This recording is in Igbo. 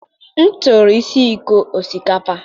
m tụrụ ise iko osikapa.